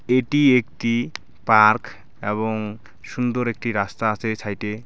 এটি একটি পার্ক এবং সুন্দর একটি রাস্তা আছে ছাইডে .